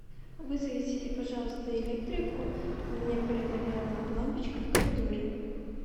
вызовите пожалуйста электрика у меня перегорела лампочка в коридоре